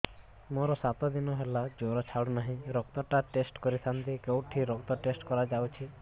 ମୋରୋ ସାତ ଦିନ ହେଲା ଜ୍ଵର ଛାଡୁନାହିଁ ରକ୍ତ ଟା ଟେଷ୍ଟ କରିଥାନ୍ତି କେଉଁଠି ରକ୍ତ ଟେଷ୍ଟ କରା ଯାଉଛି